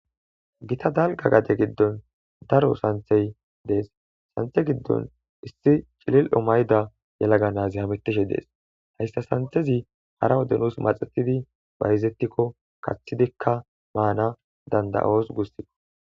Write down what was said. Gita dalgga gade gidddon daro oosanchvhay dees iza giddon issi cililo mayida yelaga naazi hametishe dees hayssa sanththezi kaxxiko nus hara wode maana dandda7oos guusiko